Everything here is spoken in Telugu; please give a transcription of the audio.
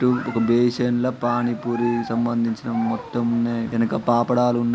టూ ఒక బేసిన్లో పానీపూరీ కి సంబందించిన మొత్తమ్ ఉన్నాయి ఎనక పాపడాలు ఉన్నా--